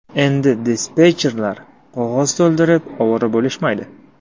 Endi dispetcherlar qog‘oz to‘ldirib ovora bo‘lishmaydi.